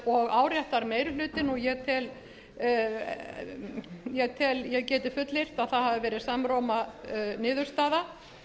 og áréttar meiri hlutinn og ég get fullyrt að það hafi verið samróma niðurstaða